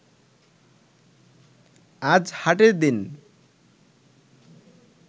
আজ হাটের দিন